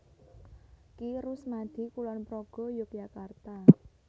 Ki Rusmadi Kulonprogo Yogyakarta